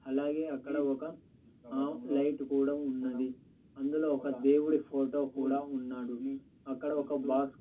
అలాగే అక్కడ ఒక ఆ లైట్ కూడా ఉన్నది అందులో ఒక దేవుడి ఫోటో కూడా ఉన్నాడు అక్కడ ఒక బాక్స్ --